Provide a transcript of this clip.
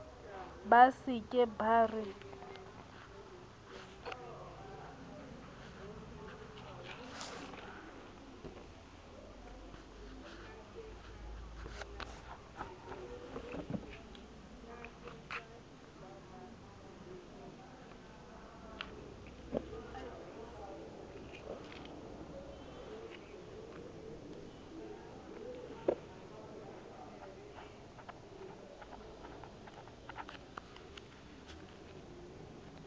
ba se ke ba re